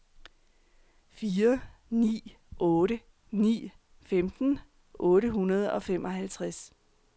fire ni otte ni femten otte hundrede og femoghalvtreds